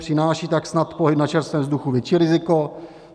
Přináší tak snad pohyb na čerstvém vzduchu větší riziko?